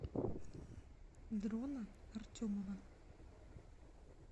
дрона артемова